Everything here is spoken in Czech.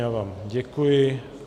Já vám děkuji.